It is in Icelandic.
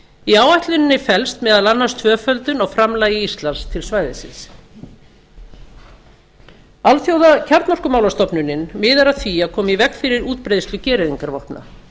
í áætluninni felst meðal annars tvöföldun á framlagi íslands til svæðisins alþjóðakjarnorkumálastofnunin miðar að því að koma í veg fyrir útbreiðslu gereyðingarvopna